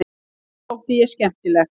Honum þótti ég skemmtileg.